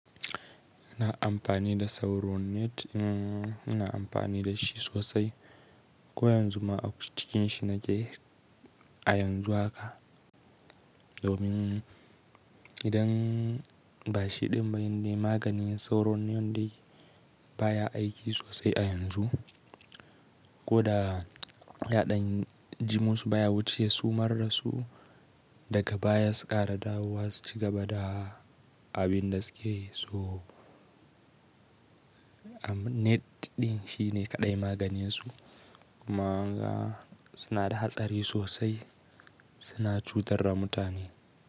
Ina amfani da Sauronet, ina amfani da shi sosai. Ko yanzu ma aikin shi nake a yanzu haka. Domin, idan bashi ɗin bane maganin Sauronet baya aiki sosai a yanzu. Ko da yaɗan jimu su baya wuce su mar dasu daga baya suƙara dawowa su cigaba da abin da suke so. Net ɗin shine kaɗai maganin su. Mana suna da hatsari sosai, suna cutar da mutane.